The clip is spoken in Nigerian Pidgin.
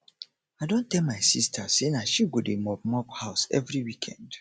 i don tell my sista sey na she go dey mop mop house every weekend